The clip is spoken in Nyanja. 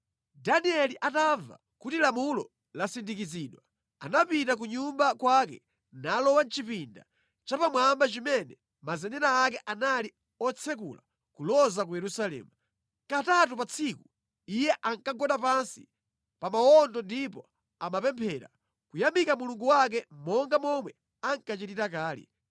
Danieli atamva kuti lamulo lasindikizidwa, anapita ku nyumba kwake nalowa mʼchipinda chapamwamba chimene mazenera ake anali otsekula kuloza ku Yerusalemu. Katatu pa tsiku iye ankagwada pansi pa mawondo ndipo amapemphera, kuyamika Mulungu wake, monga momwe ankachitira kale.